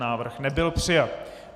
Návrh nebyl přijat.